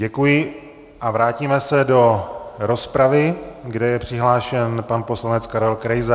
Děkuji a vrátíme se do rozpravy, kde je přihlášen pan poslanec Karel Krejza.